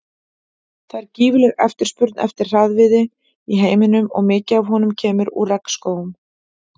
Það er gífurleg eftirspurn eftir harðviði í heiminum og mikið af honum kemur úr regnskógum.